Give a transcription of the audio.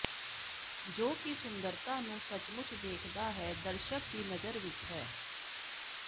ਜੋ ਕਿ ਸੁੰਦਰਤਾ ਨੂੰ ਸੱਚਮੁੱਚ ਵੇਖਦਾ ਹੈ ਦਰਸ਼ਕ ਦੀ ਨਜ਼ਰ ਵਿੱਚ ਹੈ